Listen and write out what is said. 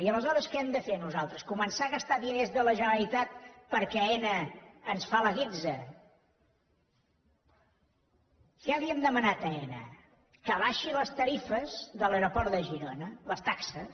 i aleshores què hem de fer nosaltres començar a gastar diners de la generalitat perquè aena ens fa la guitza què li hem demanat a aena que abaixi les tarifes de l’aeroport de girona les taxes